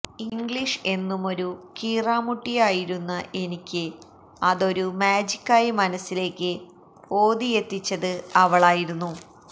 English എന്നുമൊരു കീറാമുട്ടിയായിരുന്ന എനിക്ക് അതൊരു മാജിക്കായി മനസ്സിലേക്ക് ഓതിയെത്തിച്ചത് അവളായിരുന്നു